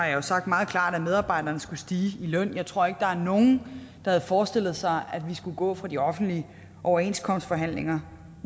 jo sagt meget klart at medarbejderne skulle stige i løn jeg tror ikke der er nogen der havde forestillet sig at vi skulle gå fra de offentlige overenskomstforhandlinger